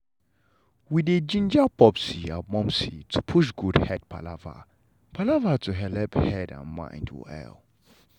we dey ginger popsi and momsi to push good head palava palava to helep head and mind well.